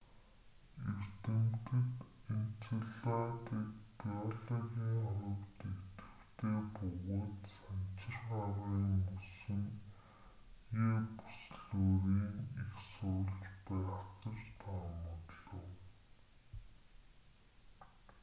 эрдэмтэд энцеладыг геологийн хувьд идэвхтэй бөгөөд санчир гарагийн мөсөн е бүслүүрийн эх сурвалж байх гэж таамаглав